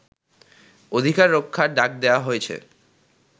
অধিকার রক্ষার ডাক দেয়া হয়েছে